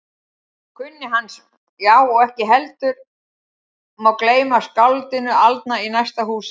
Já, og ekki má heldur gleyma skáldinu aldna í næsta húsi.